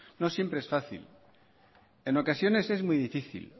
no siempre es fácil en ocasiones es muy difícil